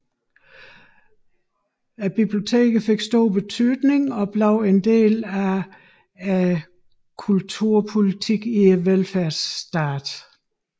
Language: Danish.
Bibliotekerne fik stor betydning og blev en del af verfærdsstatens kulturpolitik